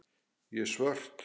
Ég er svört.